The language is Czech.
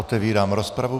Otevírám rozpravu.